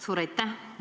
Suur aitäh!